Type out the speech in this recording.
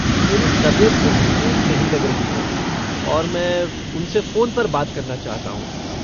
मेरी तबियत कुछ ठीक नहीं लग रही है और मैं उनसे फ़ोन पर बात करना चाहता हूँ।